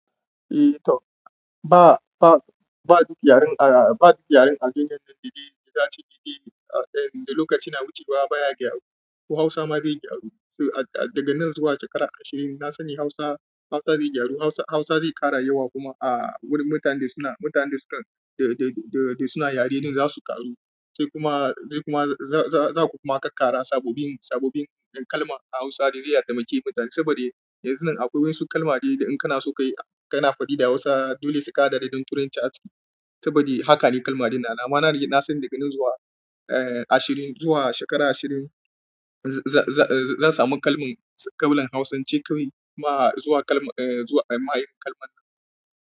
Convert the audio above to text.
Eh to ba, ba, ba duk yaren a, ba duk yaren a duniyan nan daidai da za a ce daidai ne, da lokaci na wucewa baya gyaru. Ko Hausa ma zai gyaru. So daga nan zuwa shekara ashirin, na sani Hausa, Hausa zai gyaru. Hausa, Hausa zai ƙara yawa kuma a wurin mutanen da suna, mutanen da sukan, da, da, da suna yare ɗin za su ƙaru. Sai kuma, sai kuma za, za, za ku kuma ƙaƙƙara sababbin, sababbin kalma a Hausa da riya da muke yi. Saboda yanzu nan akwai wasu kalmomi da in kana so ka yi, kana faɗi da Hausa dole su ƙara da danturin caci. Saboda haka ne kalmomin na. Na ma na, na sani daga nan zuwa, eh, ashirin, zuwa shekara ashirin, za, za, za, zan samu kalman, kalmar hausance kawai kuma zuwa kalma, zuwa ma yin kalman nan.